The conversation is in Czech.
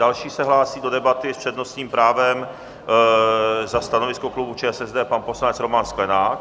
Další se hlásí do debaty s přednostním právem za stanovisko klubu ČSSD pan poslanec Roman Sklenák.